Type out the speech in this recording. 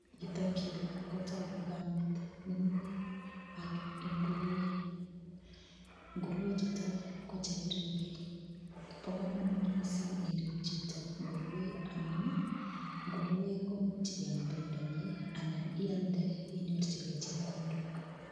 Yutokyu kotogu kamet nemi ak ngurue, ngurue chutok ko chekiripei. Bo komonut mising irip chito ngurue amun ngurue imuch iam pendonyi anan ialde chito inyorchigei chepkondok.